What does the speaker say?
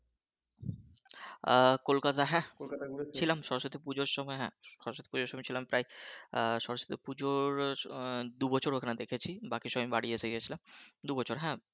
আহ কোলকাতা, কোলকাতা হ্যাঁ ছিলাম সরস্বতী পুজোর সময় হ্যাঁ সরস্বতী পুজোর সময় ছিলাম প্রায় আহ সরস্বতী পুজোর আহ দু বছর ওখানে দেখেছি বাকি সময় এসে গেছিলাম দু বছর হ্যাঁ